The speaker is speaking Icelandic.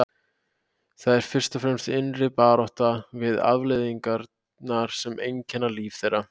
Það er fyrst og fremst innri barátta við afleiðingarnar sem einkenna líf þeirra.